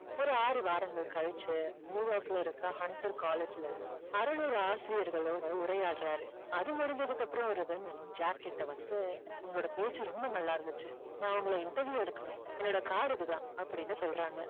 ஒரு ஆறு வாரங்கள் கழிச்சு நியூயார்க்ல இருக்கற ஹண்டர் காலேஜ்ல அறுநூறு ஆசிரியர்களோட உரையாடறாரு அது முடிஞ்சதுக்கு அப்புறம் ஒரு women ஜாக்கிட்ட வந்து உங்களோட பேச்சு ரொம்ப நல்லா இருந்துந்துச்சு நான் உங்களை interview எடுக்கணும் என்னோட card இதுதான் அப்படின்னு சொல்றாங்க